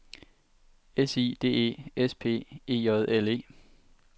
S I D E S P E J L E